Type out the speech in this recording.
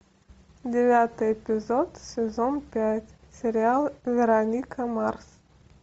девятый эпизод сезон пять сериал вероника марс